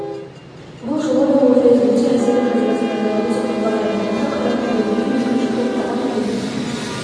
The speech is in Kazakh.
бұл жолы да ол фейсбукте әсерлі жазбасын жариялады деп хабарлайды онда қайрат құдайберген екінші топтағы мүгедек